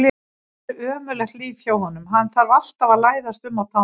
Þetta er ömurlegt líf hjá honum, hann þarf alltaf að læðast um á tánum.